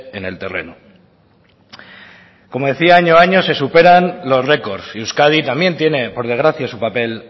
en el terreno como decía año a año se superan los records y euskadi también tiene por desgracia su papel